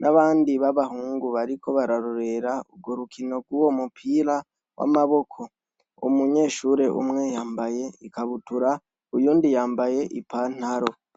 n'abandi b'abahungu bariko bararorera urwo rukino rw'uwo mupira w'amaboko, umunyeshure umwe yambaye ikabutura uyundi yambaye ipantaro.